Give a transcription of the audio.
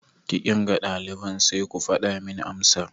Ki kirga daliban sai ku fada min amsar.